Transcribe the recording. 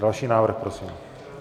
Další návrh prosím.